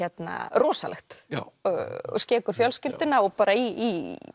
rosalegt og skekur fjölskylduna og bara í